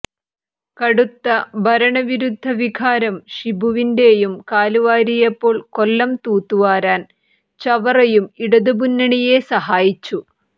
കടുത്ത ഭരണവിരുദ്ധ വികാരം ഷിബുവിന്റെയും കാലുവാരിയപ്പോൾ കൊല്ലം തൂത്തുവാരാൻ ചവറയും ഇടതുമുന്നണിയെ സഹായിച്ചു